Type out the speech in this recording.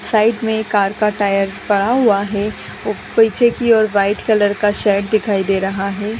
Side में एक car का टायर पड़ा हुआ है और पीछे की और वाइट कलर का शेड दिखाई दे रहा है |.